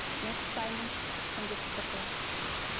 мен құптаймын міндетті түрде мхм